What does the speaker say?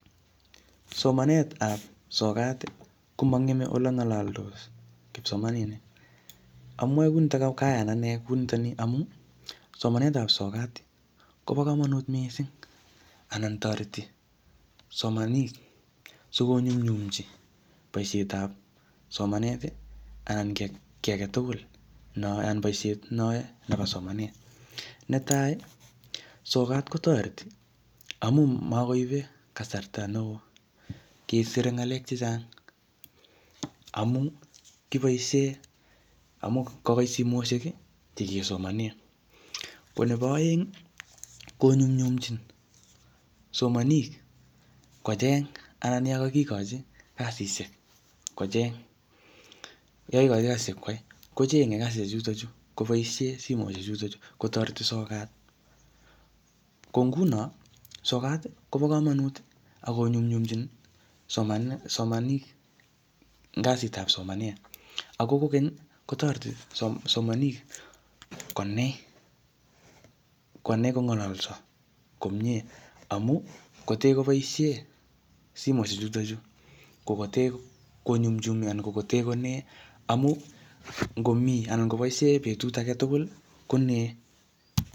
Somanet ap sokat ko mang'eme ole ng'alaldos kipsomaninik. Amwae kou nitok, kayan ane kou nitani amu somanet ap sokat ko pa kamanut missing' anan tareti somaniik asikonyumnyumchi poishet ap somanet i anan ki age tugul ne ayae anan poishet age tugul ne ayae nepo somanet. Ne tai, sokat ko tareti amu makoipe kasarta neo kesire ng'alek che chang' amun kipaise, kokoitsimoshek che kepaishen. Ko nepo aeng' konyumnyimchin somanik kocheng' anan ya kakikachi kasishek, kocheng' . Ye kakimachi kasishek koyai kocheng'e kasishechutachu kopaishe simoshechutachu kotareti sokat. Ko nguno, sokat kopa kamanut ak konyumnyumchin somanik kasit ap somanet. Ako kokeny i, kotareti simanik konai kong'alasa komye amu kote kopaishe simoshechutachu ko kote konyumnyumi anan ko kote konae amu ngomi anan ngopaishe petut age tugul konae.